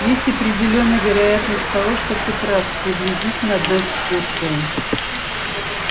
есть определённая вероятность того что ты прав приблизительно одна четвёртая